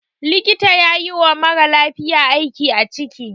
Likta yayi wa maralafiya aiki a ciki